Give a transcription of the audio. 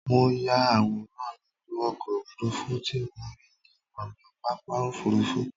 Mo ya àwòrán gbogbo ọkọ̀ òfurufú tí mo rí ní ònà pápá òfurufú